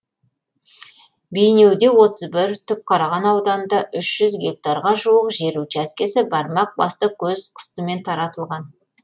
бейнеуде отыз бір түпқараған ауданында үш жүз гектарға жуық жер учаскесі бармақ басты көз қыстымен таратылған